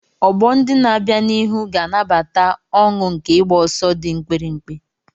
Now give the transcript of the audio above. Ọgbọ ndị na-abịa n'ihu ga-anabata ọṅụ nke ịgba ọsọ dị mkpirikpi.